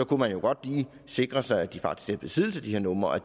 kunne man jo godt lige sikre sig at de faktisk besiddelse af de her numre